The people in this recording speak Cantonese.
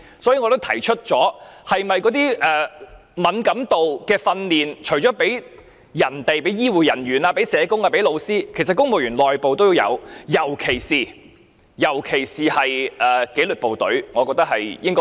所以，我已經提出，那些關於敏感度的訓練，除了向醫護人員、社工及老師提供外，其實公務員內部是否也應該提供？